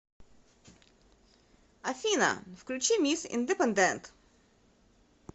афина включи мисс индепендент